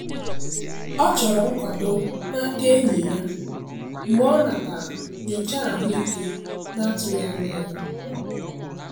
Ọ chọrọ nkwado n'aka enyi ya mgbe ọ natara nyocha ahụike na-atụghị anya ya.